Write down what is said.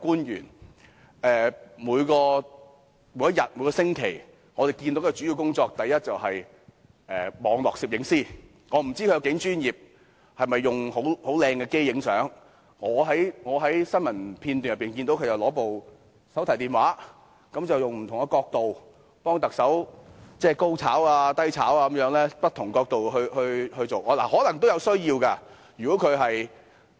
他每天最主要的工作是，第一，網絡攝影師，我不知道他有多專業，是否用很專業的相機拍照，但我在新聞片段中只見他拿着手提電話，以不同的角度替特首"高炒"、"低炒"地拍照，可能有此需要。